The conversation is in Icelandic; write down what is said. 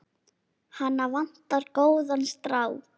Hana vantar góðan strák.